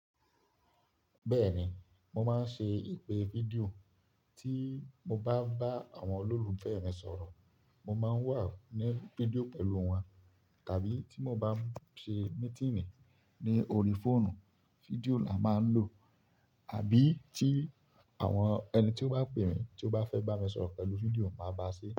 Bẹ́ẹ̀ni, mo máa ń ṣe ìpè fídíò. Tí mo bá bá àwọn olólùfẹ́ mi sọ̀rọ̀, mo máa ń wà ní fídíò pẹ̀lú wọn. Tàbí tí mo bá ń ṣe mítínì ní orí fóònù, fídíò la máa ń lò. Àbí tí àwọn ẹni tí ó bá pè mí, tí ó bá fẹ́ bá mi sọ̀rọ̀ pẹ̀lú fídíò, màá bá a ṣe é.